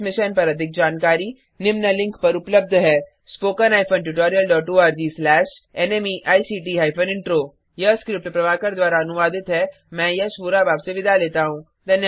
इस मिशन पर अधिक जानकारी निम्न लिंक पर उपलब्ध है spoken hyphen tutorial dot ORG slash NMEICT hyphen intro यह स्क्रिप्ट प्रभाकर द्वारा अनुवादित है मैं यश वोरा अब आपसे विदा लेता हूँ